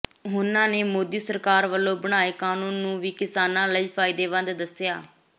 ਉਨ੍ਹਾਂ ਨੇ ਮੋਦੀ ਸਰਕਾਰ ਵੱਲੋਂ ਬਣਾਏ ਕਾਨੂੰਨ ਨੂੰ ਵੀ ਕਿਸਾਨਾਂ ਲਈ ਫਾਇਦੇਮੰਦ ਦੱਸਿਆ